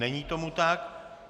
Není tomu tak.